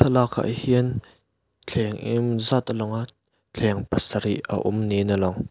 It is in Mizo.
lakah hian thleng engemawzat a langa thleng pasarih a awm niin a lang.